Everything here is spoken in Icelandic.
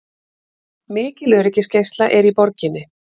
Mikil öryggisgæsla er í borginni